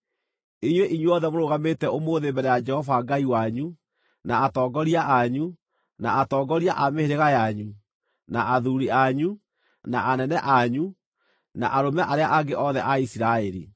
Inyuĩ inyuothe mũrũgamĩte ũmũthĩ mbere ya Jehova Ngai wanyu, na atongoria anyu, na atongoria a mĩhĩrĩga yanyu, na athuuri anyu, na anene anyu, na arũme arĩa angĩ othe a Isiraeli,